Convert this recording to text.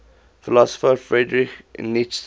philosopher friedrich nietzsche